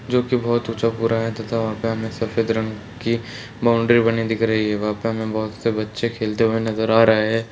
जो की बहुत ऊंचा पूरा है तथा वहां पर हमें सफेद रंग की बाउंड्री बनी हुई दिख रही है वहां पर हमें बहुत से बच्चे खेलते हुए नजर आ रहे हैं।